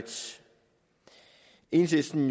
enhedslisten